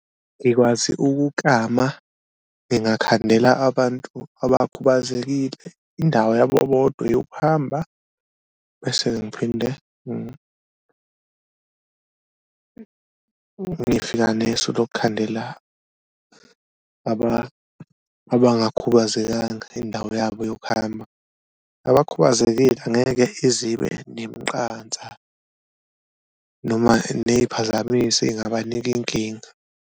Ngikwazi ukuklama, ngingakhandela abantu abakhubazekile indawo yabo bodwa eyokuhamba bese-ke ngiphinde ngifika nesu lokukhandela abangakhubazekanga indawo yabo yokuhamba, abakhubazekile angeke izibe nemiqansa noma neyiphazamisi ey'ngabanika inkinga.